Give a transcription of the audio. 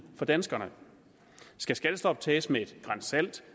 for danskerne skal skattestoppet tages med et gran salt